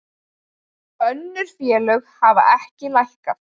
Önnur félög hafa ekki lækkað